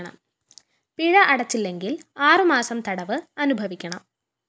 പിഴ അടച്ചില്ലെങ്കില്‍ ആറു മാസം തടവ് അനുഭവിക്കണം